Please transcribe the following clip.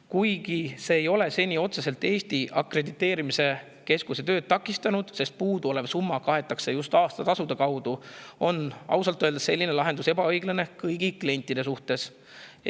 Kuigi see ei ole Eesti Akrediteerimiskeskuse tööd seni otseselt takistanud, sest puuduolev summa kaetakse just aastatasude abil, on selline lahendus ausalt öeldes ebaõiglane kõigi klientide suhtes.